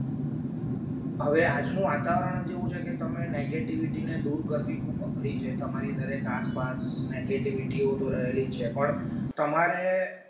હવે આજનું વાતાવરણ જેવું છે કે તમે negativity ને દૂર કરવી ખૂબ અઘરી છે તમારી દરેક આસપાસ negativity હોતો રહેલી છે પણ તમારે